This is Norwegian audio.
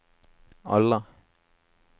alle